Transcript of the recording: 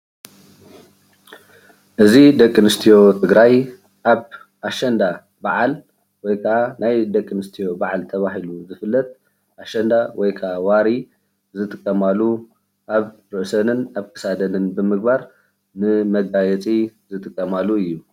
እዚ ደቂ ኣነስትዮ ትግራይ ኣብ ኣሸንዳ ባዓል ወይ ከዓ ናይ ደቂ ኣነስትዮ በዓል ተባሂሉ ዝፍለጥ ኣሸንዳ ወይ ከዓ ወሪ ዝጥቀማሉ ኣብ ርእሰንን ኣብ ክሳደንን ብምግባር ንመጋየፂ ዝጥቀማሉ እዩ፡፡